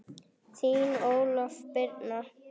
Þín Ólöf Birna.